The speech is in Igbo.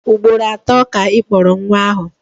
Ugboro atọ ka Ị kpọrọ nwa ahụ.